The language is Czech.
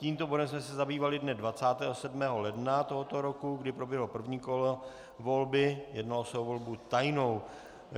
Tímto bodem jsme se zabývali dne 27. ledna tohoto roku, kdy proběhlo první kolo volby, jednalo se o volbu tajnou.